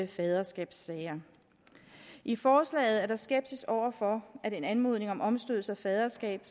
faderskabssager i forslaget er der skepsis over for at en anmodning om omstødelse af faderskab